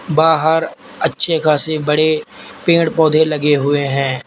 बाहर अच्छे खासे बड़े पेड़ पौधे लगे हुए हैं।